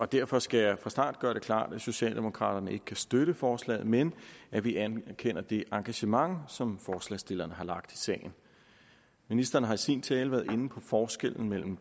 derfor skal jeg fra starten gøre det klart at socialdemokraterne ikke kan støtte forslaget men at vi anerkender det engagement som forslagsstillerne har lagt i sagen ministeren har i sin tale været inde på forskellen